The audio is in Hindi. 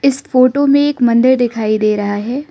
इस फोटो में एक मंदिर दिखाई दे रहा है।